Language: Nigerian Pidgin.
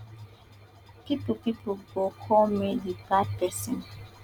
pipo pipo go call me di bad person